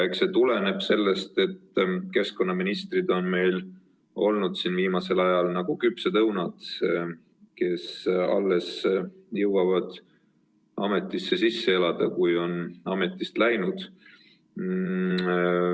Eks see tuleneb sellest, et keskkonnaministrid on meil olnud viimasel ajal nagu küpsed õunad: alles jõuavad ametisse sisse elada, kui on juba ametist läinud.